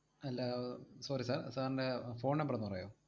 അല്ല അഹ് sorry sir, sir ൻറെ അഹ് phone number ഒന്ന് പറയോ?